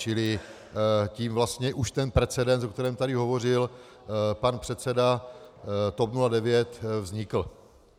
Čili tím vlastně už ten precedens, o kterém tady hovořil pan předseda TOP 09, vznikl.